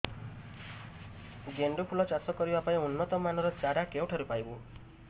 ଗେଣ୍ଡୁ ଫୁଲ ଚାଷ କରିବା ପାଇଁ ଉନ୍ନତ ମାନର ଚାରା କେଉଁଠାରୁ ପାଇବୁ